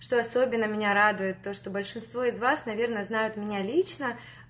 что особенно меня радует то что большинство из вас наверное знают меня лично